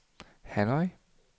Hanoi